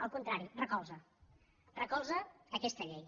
al contrari recolza recolza aquesta llei